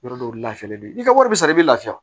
Yɔrɔ dɔw lafiyalen don i ka wari bɛ sara i bɛ lafiya